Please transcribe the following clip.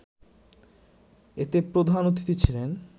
এতে প্রধান অতিথি ছিলেন